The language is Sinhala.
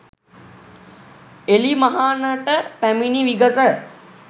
එළිමහනට පැමිණි විගස